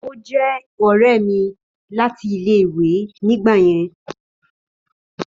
Ó je òré mi láti ilé ìwé ni gba yen